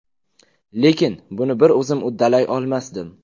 Lekin buni bir o‘zim uddalay olmasdim.